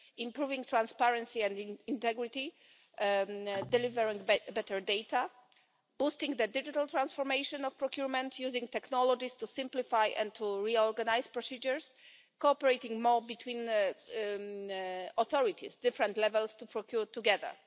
improving transparency and integrity, delivering better data, boosting the digital transformation of procurement, using technologies to simplify and to reorganise procedures, and cooperating more between authorities at different levels, to procure together.